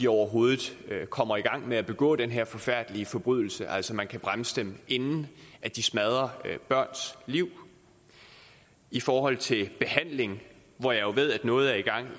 overhovedet kommer i gang med at begå den her forfærdelig forbrydelse altså så man kan bremse dem inden de smadrer børns liv i forhold til behandling hvor jeg jo ved at noget er i gang